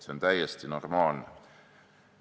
See on täiesti normaalne.